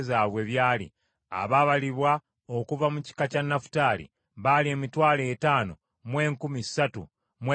Abaabalibwa okuva mu kika kya Nafutaali baali emitwalo etaano mu enkumi ssatu mu ebikumi bina (53,400).